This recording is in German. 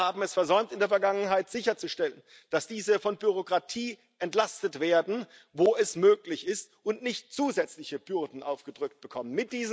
Wir haben es in der Vergangenheit versäumt, sicherzustellen, dass diese von Bürokratie entlastet werden, wo es möglich ist, und nicht zusätzliche Bürden aufgedrückt bekommen.